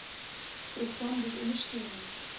program bied ondersteuning